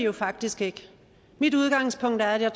vi faktisk ikke mit udgangspunkt er at jeg